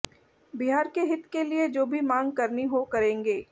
बिहार के हित के लिए जो भी मांग करनी हो करेंगे